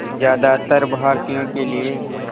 ज़्यादातर भारतीयों के लिए